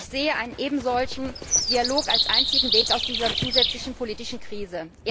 Ich sehe einen ebensolchen Dialog als einzigen Weg aus dieser zusätzlichen politischen Krise.